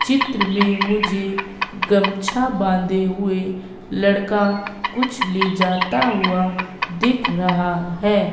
चित्र में मुझे गमछा बांधे हुएं लड़का कुछ ले जाता हुआ दिख रहा हैं।